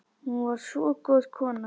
Hún var svo góð kona